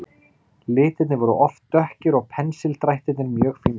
Litirnir voru oft dökkir og pensildrættirnir mjög fínlegir.